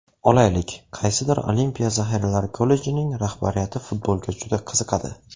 Olaylik, qaysidir Olimpiya zaxiralari kollejining rahbariyati futbolga juda qiziqadi.